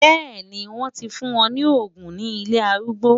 Bẹ́ẹ̀ni, wọ́n ti fún wọn ní òògùn ní ilé arúgbó.